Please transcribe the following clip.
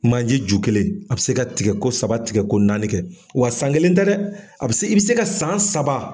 Manje ju kelen a bɛ se ka tigɛko saba tigɛko naani kɛ. Wa san kelen tɛ dɛ, a bɛ se i bɛ se ka san saba